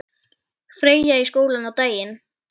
Freyja í skóla á daginn.